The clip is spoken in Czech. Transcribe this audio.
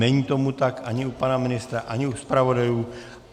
Není tomu tak ani u pana ministra, ani u zpravodajů.